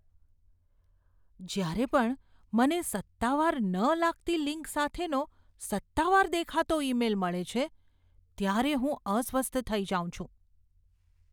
જ્યારે પણ મને સત્તાવાર ન લાગતી લિંક સાથેનો સત્તાવાર દેખાતો ઈમેઇલ મળે છે ત્યારે હું અસ્વસ્થ થઈ જાઉં છું.